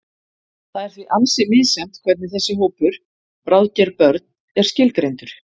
Það er því ansi misjafnt hvernig þessi hópur, bráðger börn, er skilgreindur.